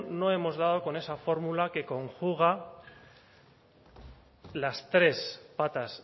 no hemos dado con esa fórmula que conjuga las tres patas